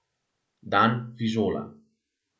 Dan fižola.